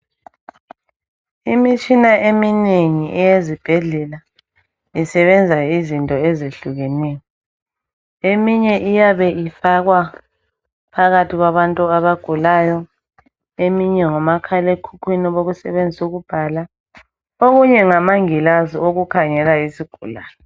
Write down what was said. Imitshina eminengi eyezibhedlela isebenza izinto ezehlukeneyo. Eminye iyabe ifakwa phakathi kwabantu abagulayo eminye ngomakhalekhukhwini bokusebenzisa ukubhala okunye ngamangilazi okukhangela izigulane.